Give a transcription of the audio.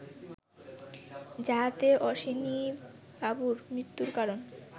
যাহাতে অশ্বিনীবাবুর মৃত্যুর কারণ